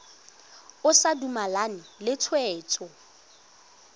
o sa dumalane le tshwetso